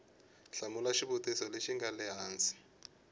hlamula xivutiso lexi nga ehansi